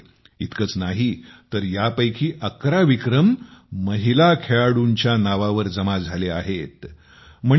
इतकेच नाही तर यापैकी 11 विक्रम महिला खेळाडूंच्या नाववर जमा झाले आहेत हे जाणून तुम्हा मंडळींना आनंद वाटेल